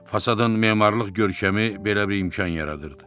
Fasadın memarlıq görkəmi belə bir imkan yaradırdı.